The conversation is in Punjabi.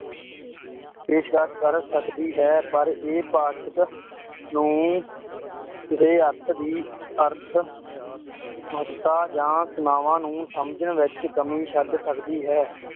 ਪੇਸ਼ਕਸ਼ ਕਰ ਸਕਦੀ ਹੈ, ਪਰ ਇਹ ਪਾਠਕ ਨੂੰ ਕਿਸੇ ਅਰਥ ਦੀ ਅਰਥ ਮਹੱਤਤਾ ਜਾਂ ਸੀਮਾਵਾਂ ਨੂੰ ਸਮਝਣ ਵਿੱਚ ਕਮੀ ਛੱਡ ਸਕਦੀ ਹੈ,